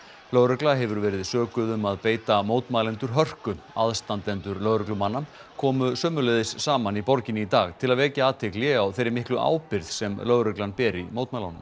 lögregla hefur verið sökuð um að beita mótmælendur hörku aðstandendur lögreglumanna komu sömuleiðis saman í borginni í dag til að vekja athygli á þeirri miklu ábyrgð sem lögreglan ber í mótmælunum